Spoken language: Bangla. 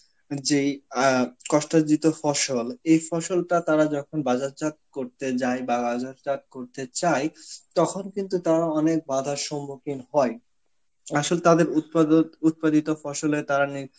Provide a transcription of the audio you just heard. যেই আ কস্টাজীত ফসল, এই ফসলটা তারা যখন বাযারজাত করতে যায় বা বাযারজাত করতে চায় তখন কিন্তু তারা অনেক বাধার সম্মুখীন হয়. আসল তাদের উৎপাদত~ উৎপাদিত ফসলে তারা নি~